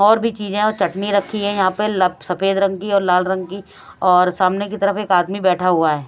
और भी चीजें और चटनी रखी है यहां पे ल सफेद रंग की लाल रंग की और सामने की तरफ एक आदमी बैठा हुआ है।